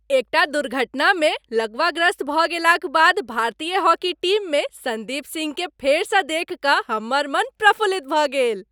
एकटा दुर्घटनामे लकवाग्रस्त भऽ गेलाक बाद भारतीय हॉकी टीममे सन्दीप सिंहकेँ फेरसँ देखि कऽ हमर मन प्रफुल्लित भऽ गेल।